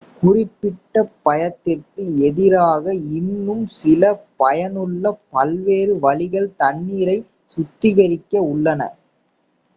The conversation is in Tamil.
குறிப்பிட்ட பயத்திற்கு எதிராக இன்னும் சில பயனுள்ள பல்வேறு வழிகள் தண்ணீரை சுத்திகரிக்க உள்ளன